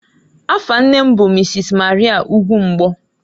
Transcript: Afa nne m bụ Mrs. Maria Ugwumgbo.